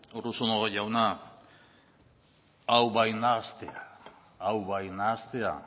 urruzuno jauna hau bai nahastea hau bai nahastea